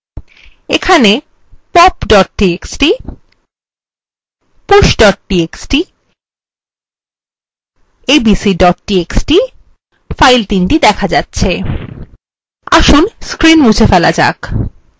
এখানে pop txt push txt এবং abc txt files দেখা যাচ্ছে আসুন screen মুছে ফেলা যাক